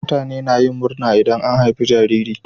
Mutane na yin murna idan an haifi jariri.